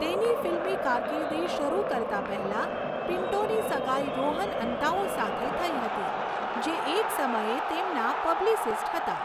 તેની ફિલ્મી કારકિર્દી શરૂ કરતા પહેલા, પિન્ટોની સગાઈ રોહન અંતાઓ સાથે થઈ હતી, જે એક સમયે તેમના પબ્લિસિસ્ટ હતા.